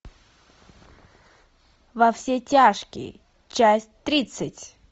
во все тяжкие часть тридцать